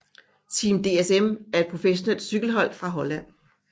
Team DSM er et professionelt cykelhold fra Holland